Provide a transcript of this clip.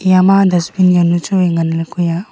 eya ma dustbin jawnu chu wai ngan ley kue a.